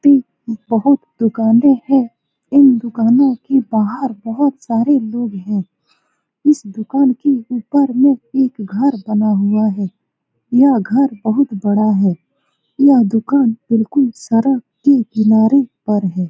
दो बहुत दुकानें हैं इन दुकानों के बाहर बहुत सारे लोग हैं इस दुकान के ऊपर में एक घर बना हुआ है यह घर बहुत बड़ा है यह दुकान बिल्कुल सड़क के किनारे पर है।